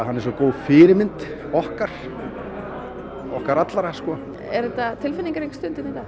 hann er svo góð fyrirmynd okkar okkar allra sko er þetta tilfinningarík stund hérna